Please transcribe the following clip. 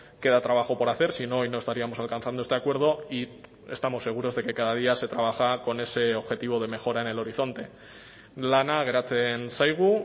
queda trabajo por hacer si no hoy no estaríamos alcanzando este acuerdo y estamos seguros de que cada día se trabaja con ese objetivo de mejora en el horizonte lana geratzen zaigu